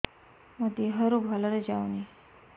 ମୋ ଦିହରୁ ଭଲରେ ଯାଉନି